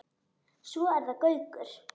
Svo er það Gaukur.